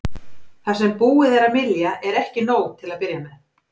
Það sem búið er að mylja er ekki nóg til að byrja með.